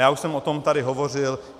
Já už jsem o tom tady hovořil.